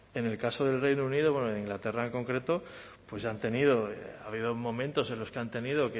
en el caso del reino unido en inglaterra en concreto pues ya han tenido ha habido momentos en los que han tenido